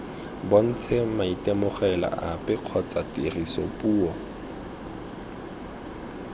bontshe maitemogelo ape kgotsa tirisopuo